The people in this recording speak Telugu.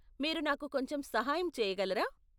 మీరు నాకు కొంచెం సహాయం చెయ్యగలరా?